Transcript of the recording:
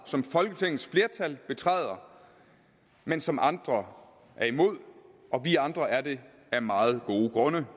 som folketingets flertal betræder men som andre er imod og vi andre er det af meget gode grunde